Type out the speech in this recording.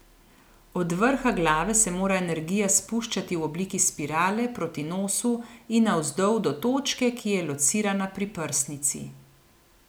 Od vrha glave se mora energija spuščati v obliki spirale proti nosu in navzdol do točke, ki je locirana pri prsnici.